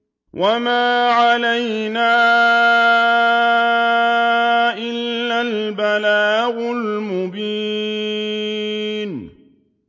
وَمَا عَلَيْنَا إِلَّا الْبَلَاغُ الْمُبِينُ